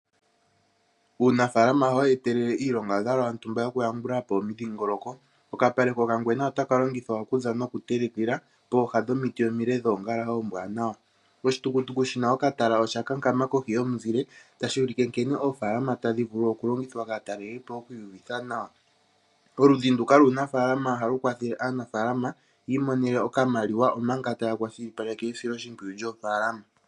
Uunafalama ohawu etelele iilongadhalwa yontumba yokuyambula po omidhingoloko. Okapale kokangwena otaka longithwa okulya nokutelekelwa poooha dhomiti omile dhoongala oombwaanawa. Oshitukutuku shi na okatala osha kankama kohi yomuzile tashi ulike nkene oofaalama tadhi vulu okulongithwa kaatalelipo oku iyuvitha nawa. Oludhi nduka luunafaalama ohalu kwathele aanafaalama yi imonene okamaliwa, omanga taya kwashilipaleke esiloshimpwiyu lyoofaalama.